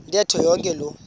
ntetho yonke loo